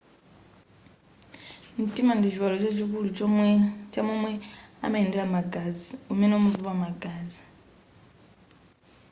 mtima ndi chiwalo chachikulu cha momwe amayendera magazi umene umapopa magazi